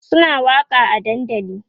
Suna waƙa a dandali